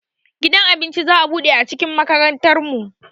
Gidan abinci za'a buɗe a cikin makarantar mu